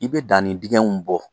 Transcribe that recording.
I be dannin dingɛw bɔ